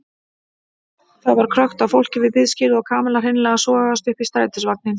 Það var krökkt af fólki við biðskýlið og Kamilla hreinlega sogaðist upp í strætisvagninn.